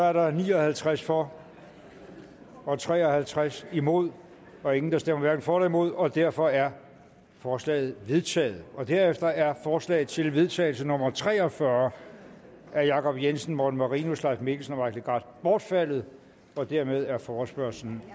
er der ni og halvtreds for og tre og halvtreds imod og ingen der stemmer hverken for eller imod og derfor er forslaget vedtaget derefter er forslag til vedtagelse nummer v tre og fyrre af jacob jensen morten marinus leif mikkelsen og mike legarth bortfaldet dermed er forespørgslen